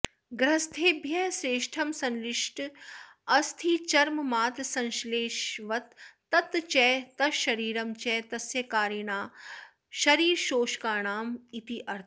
गृहस्थेभ्यः श्रेष्ठं संश्लिष्टमस्थिचर्ममात्रसंश्लेषवत् तच्च तच्छरीरं च तस्य कारिणां शरीरशोषकाणामित्यर्थः